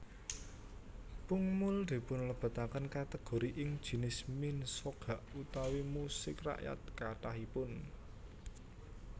Pungmul dipunlebetaken kategori ing jinis minsogak utawi musik rakyat kathahipun